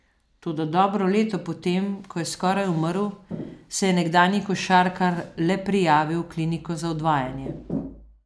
Toda dobro leto po tem, ko je skoraj umrl, se je nekdanji košarkar le prijavil v kliniko za odvajanje.